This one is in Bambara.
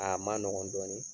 Aa ma nɔgɔn dɔɔnin